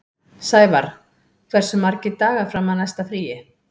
Sævarr, hversu margir dagar fram að næsta fríi?